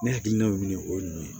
Ne hakilina min o ye nin ye